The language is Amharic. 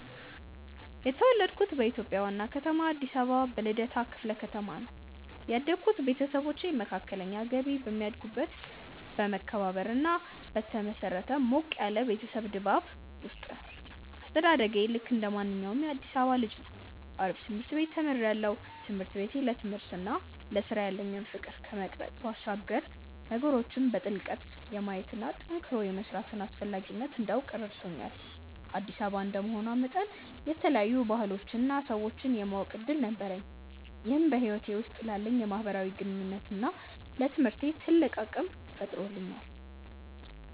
የተወለድኩት በኢትዮጵያ ዋና ከተማ አዲስ አበባ በልደታ ክፍለ ከተማ ነው። ያደግኩት ቤተሰቦቼ መካከለኛ ገቢ በሚያገኙበት በመከባበርና ላይ በተመሰረተ ሞቅ ያለ የቤተሰብ ድባብ ውስጥ ነው። አስተዳደጌ ልክ እንደማንኛውም የአዲሳባ ልጅ ነው አሪፍ ትምርት ቤት ተምሪያለሁ። ትምህርት ቤቴ ለትምህርትና ለስራ ያለኝን ፍቅር ከመቅረጽ ባሻገር ነገሮችን በጥልቀት የማየትና ጠንክሮ የመስራትን አስፈላጊነት እንዳውቅ ረድቶኛል። አዲስ አበባ እንደመሆኗ መጠን የተለያዩ ባህሎችንና ሰዎችን የማወቅ እድል ነበረኝ ይህም በህይወቴ ውስጥ ላለኝ የማህበራዊ ግንኙነትና ለትምህርቴ ትልቅ አቅም ፈጥሮልኛል።